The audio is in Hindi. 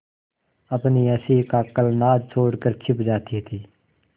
अपनी हँसी का कलनाद छोड़कर छिप जाती थीं